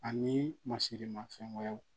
Ani masirimafɛn wɛrɛw